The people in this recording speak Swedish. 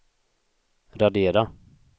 radera